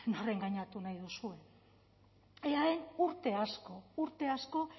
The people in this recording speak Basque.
nor engainatu nahi duzuen eaen urte asko urte asko